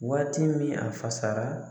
Waati min a fasara